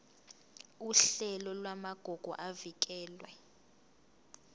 uhlelo lwamagugu avikelwe